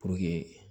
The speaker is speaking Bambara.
Puruke